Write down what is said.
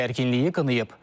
Bu gərginliyi qınayıb.